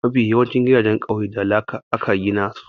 Mafi yawancin gidajen ƙauye da laka aka gina su.